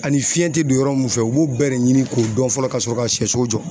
Ani fiɲɛ te don yɔrɔ min fɛ, u b'o bɛɛ de ɲini k'o dɔn fɔlɔ ka sɔrɔ ka sɛso jɔ.